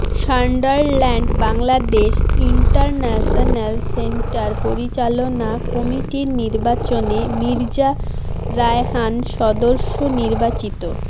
Sunderland Bangladesh international centre পরিচালনা কমিটির নির্বাচনে মির্জা রায়হান সদস্য নির্বাচিত